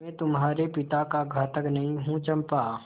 मैं तुम्हारे पिता का घातक नहीं हूँ चंपा